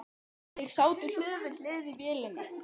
Þeir sátu hlið við hlið í vélinni.